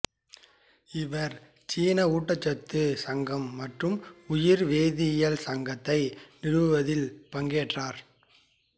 இவர் சீன ஊட்டச்சத்து சங்கம் மற்றும் உயிர் வேதியியல் சங்கத்தை நிறுவுவதில் பங்கேற்றார்